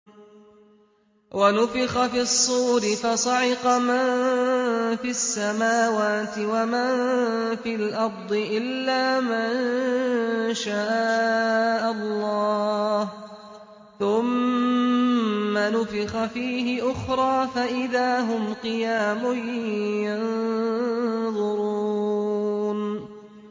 وَنُفِخَ فِي الصُّورِ فَصَعِقَ مَن فِي السَّمَاوَاتِ وَمَن فِي الْأَرْضِ إِلَّا مَن شَاءَ اللَّهُ ۖ ثُمَّ نُفِخَ فِيهِ أُخْرَىٰ فَإِذَا هُمْ قِيَامٌ يَنظُرُونَ